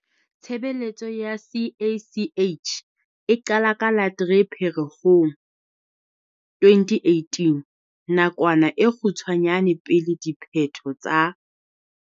Tshebeletso ya CACH e qala ka la 3 Pherekgong 2018, nakwana e kgutshwanyane pele diphetho tsa